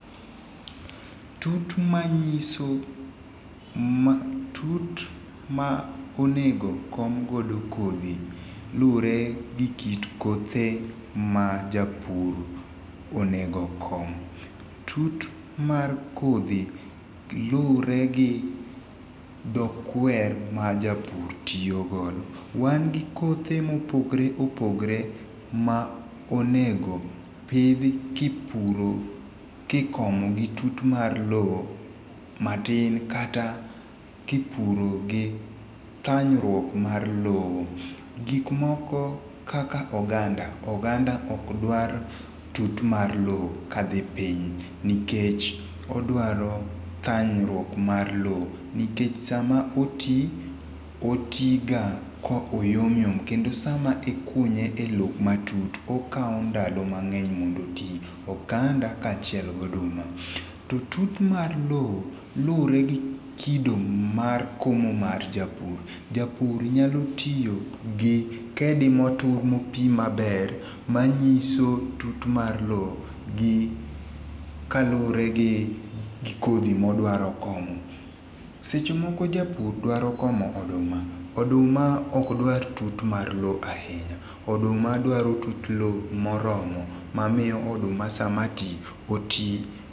Tut ma ng'iso ma tut ma onego okom godo kodhi lure gi kit kothe ma japur onego okom. Tut mar kodhi lure gi dho kwer ma japur tiyo godo, wan gi kothe ma opogore opogore ma onego pidhi ki puro ki ikomo gi tut mar loo matin kata ki puro gi thanyruok mar loo. Gik moko kaka oganda, oganda ok dwa tut mar loo kadhi piny nikech odwaro thanyruok mar loo nikech sa ma oti, oti ga ko yom yom kendo sa ma ikunye e loo ma tut okawo ndalo mangeny mondo oti, oganda ka achiel kod oduma. To tut mar loo lure gi kido mar komo mar japur, japur nyalo tiyo gi kedi ma otur ma opim maber ma ng'iso tut mar lo gi kalure gi kodhi mo odwaro komo. Seche moko japur dwaro komo oduma, oduma okdwar tut mar loo ahinya oduma dwaro tut loo ma oromo, ma miyo oduma sa ma ti oti.